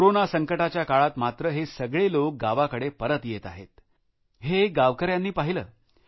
corona संकटाच्या काळात मात्र हे सगळे लोक गावाकडे परत येत आहेत हे गावकऱ्यांनी पाहिलं